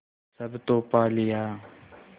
सब तो पा लिया